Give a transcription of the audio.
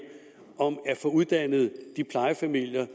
uddannelse af de plejefamilier